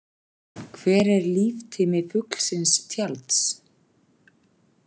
Hver er líftími fuglsinss tjalds?